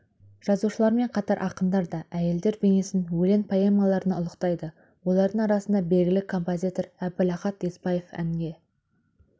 жазушылармен қатар ақындар да әйелдер бейнесін өлең поэмаларында ұлықтайды олардың арасында белгілі композитор әбілахат еспаев әнге